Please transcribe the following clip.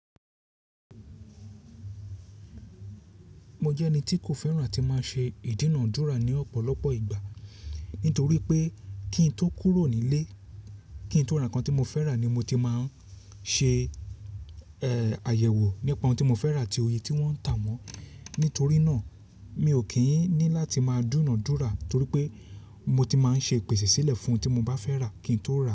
Mo jẹ́ ẹni tí kò fẹ́ràn àti máa ṣe ìdúnàdúrà ní ọ̀pọ̀lọpọ̀ ìgbà. Nítorí pé kí n tó kúrò nílé, kí n tó rà nǹkan tí mo fẹ́ rà ni mo ti máa ń ṣe, ẹ́, àyẹ̀wò nípa ohun tí mo fẹ́ rà àti oye tí wọ́n ń tà á mọ́. Nítorí náà mi ò kí ń ní láti máa dúnádúrà torí pé mo ti máa ń ṣe ipèsè sílẹ̀ fún ohun tí mo bá fẹ́ rà kí n tó rà á.